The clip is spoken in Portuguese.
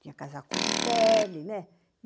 Tinha casaco de pele, né?